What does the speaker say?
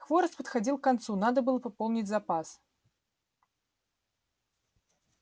хворост подходил к концу надо было пополнить запас